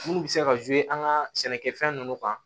Munnu be se ka an ga sɛnɛkɛfɛn nunnu kan